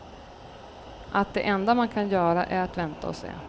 Att det enda man kan göra är att vänta och se.